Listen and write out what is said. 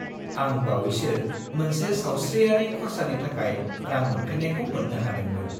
आं बावैसो मोनसे सावस्रियारि खर्सानि थाखाय रां मोनफिन्नायखौ मोन्नो हादोंमोन।